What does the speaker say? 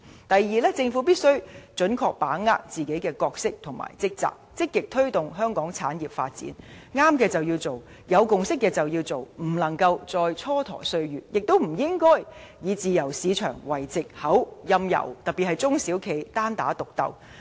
第二，政府必須準確履行自己的角色和職責，積極推動香港產業發展，正確的便要做，有共識的便要做，不能再蹉跎歲月；亦不應以自由市場為藉口，任由企業，特別是中小企單打獨鬥。